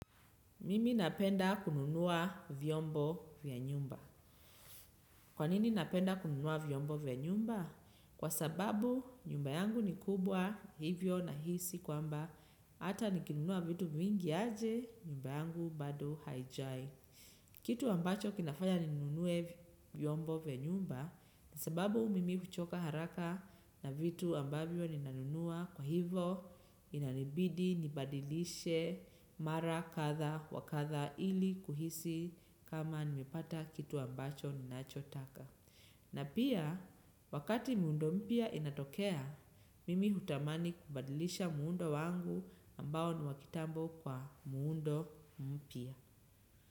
Mimi napenda kununua vyombo vya nyumba. Kwa nini napenda kununua vyombo vya nyumba? Kwa sababu nyumba yangu ni kubwa hivyo nahisi kwamba hata nikinunua vitu vingi aje nyumba yangu bado haijai. Kitu ambacho kinafanya ninunue vyombo vya nyumba sababu mimi kuchoka haraka na vitu ambavyo ninanunua. Kwa hivo inanibidi nibadilishe mara kadha wa kadha ili kuhisi kama nimepata kitu ambacho ninachotaka. Na pia wakati muundo mpya inatokea, mimi hutamani kubadilisha muundo wangu ambao ni wa kitambo kwa muundo mpya.